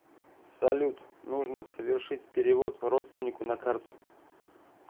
салют нужно совершить перевод родственнику на карту